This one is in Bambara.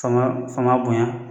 Fanga fama bonya